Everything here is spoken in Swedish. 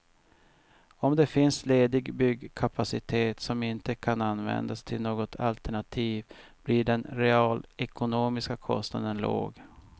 Om det finns ledig byggkapacitet som inte kan användas till något alternativ blir den realekonomiska kostnaden låg.